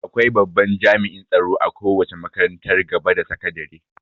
Akwai babban jami'in tsaro a kowace makarantar gaba da sakadire